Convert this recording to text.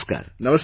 Namaskar